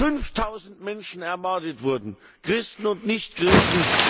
5000 Menschen ermordet wurden Christen und Nichtchristen!